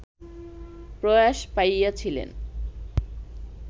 প্রয়াস পাইয়াছিলেন